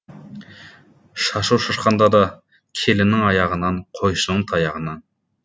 шашу шашқанда да келіннің аяғынан қойшының таяғынан